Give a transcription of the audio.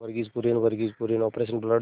Verghese Kurien Verghese Kurien operation blood